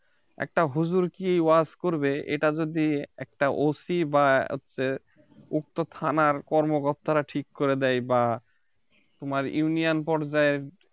একটা হুজুর কি ওয়াজ করবে এটা যদি একটা OC বা হচ্ছে উক্ত থানার কর্মকর্তারা ঠিক করে দেয় বা তোমার union পর্যায়ের